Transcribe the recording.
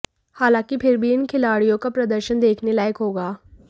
हालांकि फिर भी इन खिलाड़ियों का प्रदर्शन देखने लायक होगा